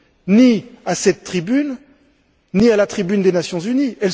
ni à cette tribune, ni à la tribune des Nations unies.